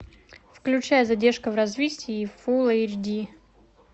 включай задержка в развитии фул эйч ди